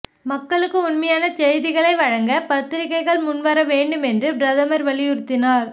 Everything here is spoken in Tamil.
மக்களுக்கு உண்மையான செய்திகளை வழங்க பத்திரிகைகள் முன்வர வேண்டுமென்றும் பிரதமர் வலியுறுத்தினார்